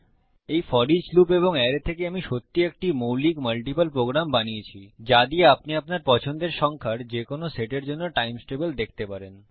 এই for each loop এবং array থেকে আমি সত্যিই একটি মৌলিক মাল্টিপল প্রোগ্রাম বানিয়েছি যা দিয়ে আপনি আপনার পছন্দের সংখ্যার যে কোন সেটের জন্য টাইম্স টেবিল দেখতে পারেন